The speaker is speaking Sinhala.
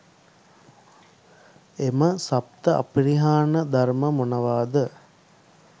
එම සප්ත අපරිහානීය ධර්ම මොනවාද?